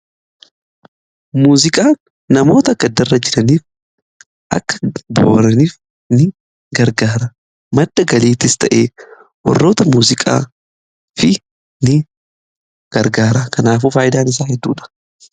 Muuziqaa namoota gaddarra jiraniif akka boo'aniif ni gargaara madda galiittis ta'e warroota muziqaafis ni gargaara kanaafuu faayidaan isaa hedduudha.